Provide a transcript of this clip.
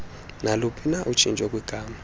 naluphina utshintsho kwigama